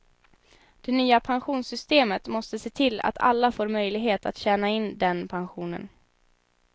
Det nya pensionssystemet måste se till att alla får möjlighet att tjäna in den pensionen.